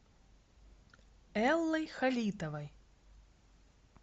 эллой халитовой